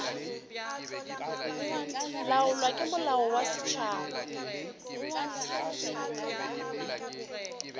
laolwa ke molao wa setšhaba